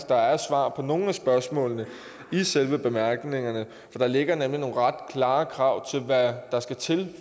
der er svar på nogle af spørgsmålene i selve bemærkningerne der ligger nemlig nogle ret klare krav til hvad der skal til